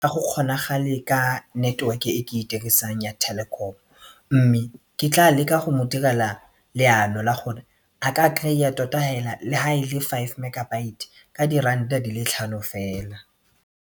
Ga go kgonagale ka network-e e ke e dirisang ya Telkom mme ke tla leka go mo direla leano la gore a ka kry-a tota hela le ha e le five megabyte ka diranta di le tlhano fela.